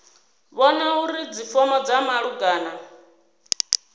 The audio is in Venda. vhona uri dzifomo dza malugana